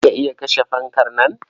Za ka iya kashe fankar nan?